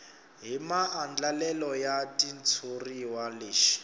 hi maandlalelo ya xitshuriwa lexi